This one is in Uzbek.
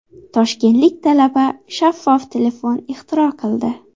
Toshkentlik talaba shaffof telefon ixtiro qildi .